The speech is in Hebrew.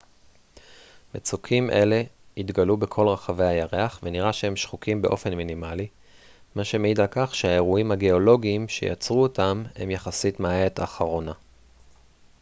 מצוקים אלה התגלו בכל רחבי הירח ונראה שהם שחוקים באופן מינימלי מה שמעיד על כך שהאירועים הגאולוגיים שיצרו אותם הם יחסית מהעת האחרונה